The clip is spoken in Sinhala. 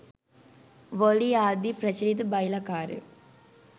වොලී ආදි ප්‍රචලිත බයිලා කාරයෝ